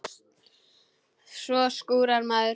Svo skúrar maður.